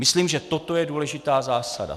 Myslím, že toto je důležitá zásada.